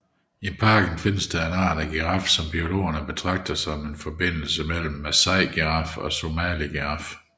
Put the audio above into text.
I parken findes en art af giraf som biologer betragter som en forbindelse mellem Masai giraf og Somali giraf